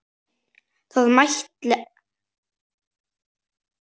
Það mætti ætla.